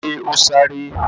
Ṣe ó sárá?